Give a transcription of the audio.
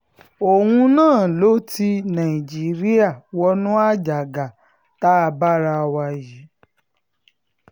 òun náà ló ti nàìjíríà wọnú àjàgà tá a bá ara wa yìí